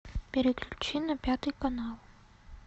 переключи на пятый канал